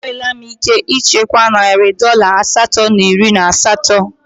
Enwela m ike ichekwa narị dọla asatọ na iri na asatọ.